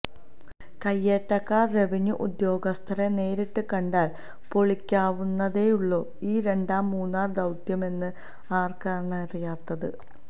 കയ്യേറ്റക്കാര് revenue ഉദ്യോഗസ്ഥരെ നേരിട്ട് കണ്ടാല് പൊളിക്കാവുന്നതേയുള്ളൂ ഈ രണ്ടാം മൂന്നാര് ദൌത്യമെന്ന് ആര്ക്കാണറിയാത്തത്